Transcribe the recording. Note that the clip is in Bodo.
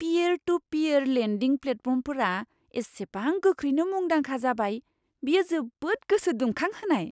पीयेर टु पीयेर लेन्डिं प्लेटफर्मफोरा इसेबां गोख्रैनो मुंदांखा जाबाय, बेयो जोबोद गोसो दुंखांहोनाय!